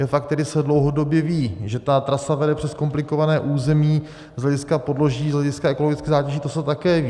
Je fakt, který se dlouhodobě ví, že ta trasa vede přes komplikované území z hlediska podloží, z hlediska ekologických zátěží, to se také ví.